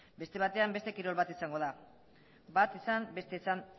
beste batean beste kirol bat izango da bat izan bestea izan